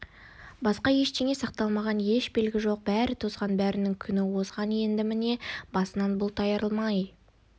басқа ештеңе сақталмаған еш белгі жоқ бәрі тозған бәрінің күні озған енді міне басынан бұлт арылмай